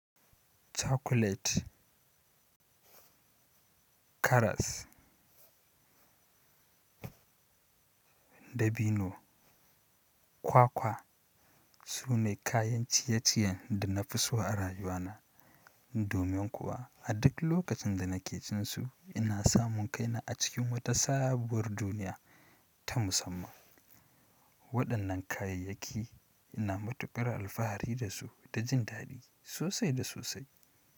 Chocolate, karas, dabino, kwakwa su ne kayan ciye-ciyen da na fi so a rayuwa na. Domin kuwa a duk lokacin da na ke cin su ina samun kaina a cikin wata sabuwar duniya ta musamman. Waɗannan kayayyaki ina matukar alfahari da su da jin daɗi sosai da sosai.